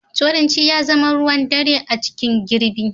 Turanci ya zama ruwan ɗare a cikin ɓgirni.